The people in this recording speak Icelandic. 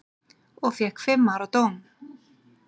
Og fékk fimm ára dóm.